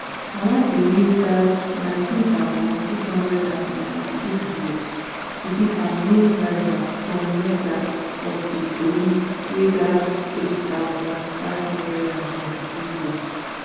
owatemi gbab nineteen thousand, six hundred and ninety-six votes to beat her main rival tom mercer of di tories wey gbab eight thousand, five hundred and twenty-two votes